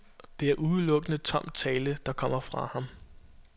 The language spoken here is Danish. Det er udelukkende tom tale, der kommer fra ham.